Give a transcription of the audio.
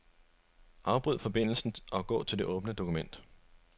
Afbryd forbindelsen og gå til det åbne dokument.